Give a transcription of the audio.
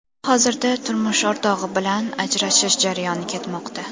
Hozirda turmush o‘rtog‘i bilan ajrashish jarayoni ketmoqda.